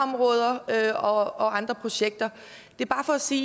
der er og andre projekter det er bare for at sige